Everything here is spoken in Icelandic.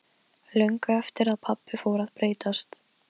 Löngu eftir að pabbi fór að breytast.